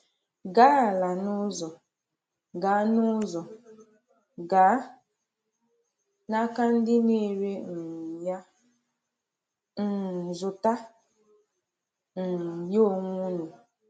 Gà-ala n’ụzọ, gaa n’ụzọ, gaa n’aka ndị na-ere um ya, um zụta um ya onwe unu.